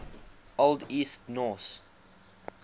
old east norse